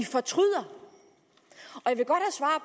fortryder